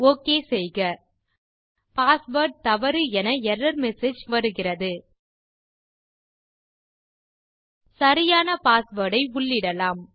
okay செய்க password தவறு என எர்ரர் மெசேஜ் வருகிறது சரியான பாஸ்வேர்ட் ஐ உள்ளிடலாம்